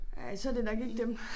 Ja så det nok ikke dem